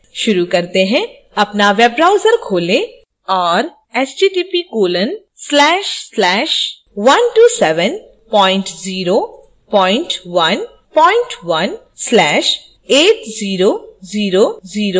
शुरू करते हैं अपना web browser खोलें और